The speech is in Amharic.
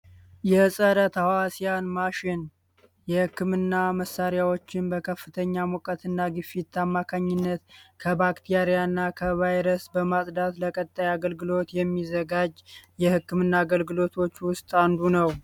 የፀረ ተህዋስያን ማሽን የህክምና መሳሪያዎችን በከፍተኛ ሙቀት እና ግፊት አማካኝነት ከባክቴሪያ እና ከቫይረስ በማፅዳት ለቀጣዩ አገልግሎት የሚዘጋጅ የህክምና አገልግሎቶች ውስጥ አንዱ ነው።